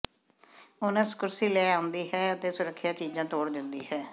onus ਕੁਰਸੀ ਲੈ ਕੇ ਆਉਂਦੀ ਹੈ ਅਤੇ ਸੁਰੱਖਿਆ ਚੀਜ਼ਾਂ ਤੋੜ ਦਿੰਦੀ ਹੈ